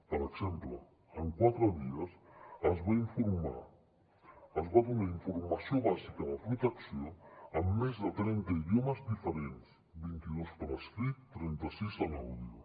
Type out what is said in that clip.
per exemple en quatre dies es va informar es va donar informació bàsica de protecció en més de trenta idiomes diferents vint i dos per escrit i trenta sis en àudio